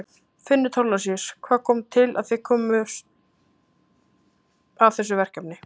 Finnur Thorlacius: Hvað kom til að þið komuð að þessu verkefni?